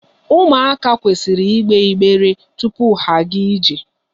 Ụmụaka kwesịrị igbe igbere tupu ha agaa ije.